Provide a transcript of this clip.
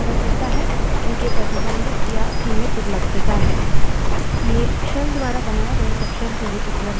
local variables जैसे के name से पता चलता है उनकी प्रतिबंधित या सीमित उपलब्धता है